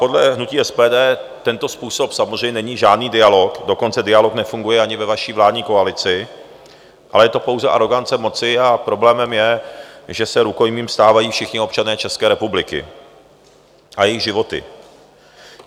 Podle hnutí SPD tento způsob samozřejmě není žádný dialog, dokonce dialog nefunguje ani ve vaší vládní koalici, ale je to pouze arogance moci, a problémem je, že se rukojmím stávají všichni občané České republiky a jejich životy.